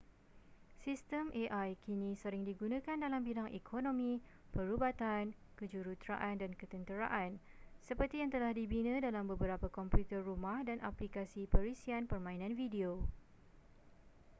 sistem ai kini sering digunakan dalam bidang ekonomi perubatan kejuruteraan dan ketenteraan seperti yang telah dibina dalam beberapa komputer rumah dan aplikasi perisian permainan video